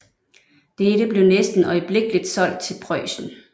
Dette blev næsten øjeblikkeligt solgt til Preussen